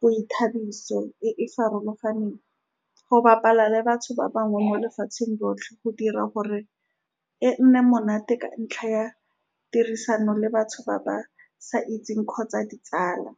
boithabiso e e farologaneng go . Bapala le batho ba bangwe mo lefatsheng lotlhe, go dira gore e nne monate ka ntlha ya tirisano le batho ba ba sa itseng kgotsa ditsala.